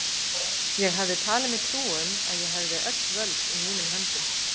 Ég hafði talið mér trú um, að ég hefði öll völd í mínum höndum.